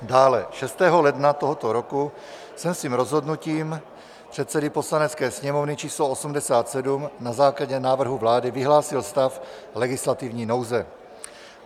Dne 6. ledna tohoto roku jsem svým rozhodnutím předsedy Poslanecké sněmovny č. 87 na základě návrhu vlády vyhlásil stav legislativní nouze.